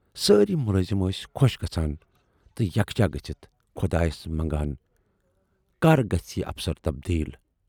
سٲری مُلٲزِم ٲسۍ خۅش گژھان تہٕ یکجاہ گٔژھِتھ خۅدایَس منگان"کر گژھِ یہِ افسر تَبدیٖل۔